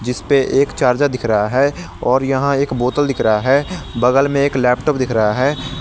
जिसपे एक चार्जर दिख रहा है और यहां एक बोतल दिख रहा है बगल में एक लैपटॉप दिख रहा है।